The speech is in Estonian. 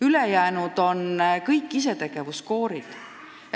Ülejäänud on isetegevuskoorid.